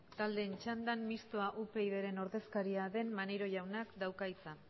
taldeen txandan mistoa upyd ren ordezkaria den maneiro jaunak dauka hitza